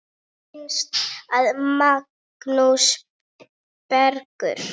Bróðir Finns var Magnús Bergur.